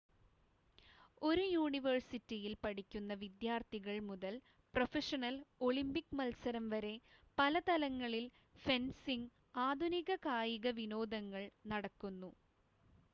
ഒരു യൂണിവേഴ്സിറ്റിയിൽ പഠിക്കുന്ന വിദ്യാർത്ഥികൾ മുതൽ പ്രൊഫഷണൽ ഒളിമ്പിക് മത്സരം വരെ പല തലങ്ങളിൽ ഫെൻസിംഗ് ആധുനിക കായിക വിനോദങ്ങൾ നടക്കുന്നു